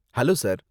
Hello sir!